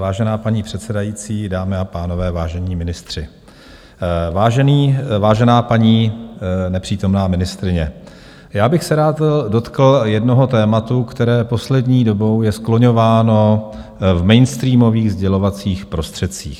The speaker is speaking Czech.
Vážená paní předsedající, dámy a pánové, vážení ministři, vážená paní nepřítomná ministryně, já bych se rád dotkl jednoho tématu, které poslední dobou je skloňováno v mainstreamových sdělovacích prostředcích.